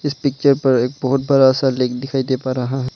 इस पिक्चर पर एक बहुत बड़ा सा लिंग दिखाई दे पा रहा है।